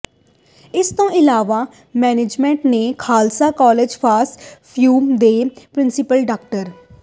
ਇਸ ਤੋਂ ਇਲਾਵਾ ਮੈਨੇਜ਼ਮੈਂਟ ਨੇ ਖ਼ਾਲਸਾ ਕਾਲਜ ਫ਼ਾਰ ਵੂਮੈਨ ਦੇ ਪ੍ਰਿੰਸੀਪਲ ਡਾ